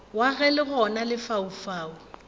wa ge le gona lefaufau